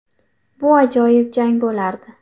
Bu ajoyib jang bo‘lardi.